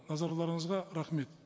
назарларыңызға рахмет